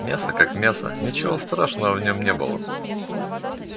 мясо как мясо ничего страшного в нем не было